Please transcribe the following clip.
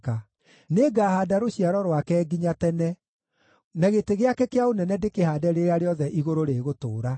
Nĩngahaanda rũciaro rwake nginya tene, na gĩtĩ gĩake kĩa ũnene ndĩkĩhaande rĩrĩa rĩothe igũrũ rĩgũtũũra.